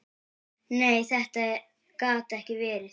Nei, þetta gat ekki verið.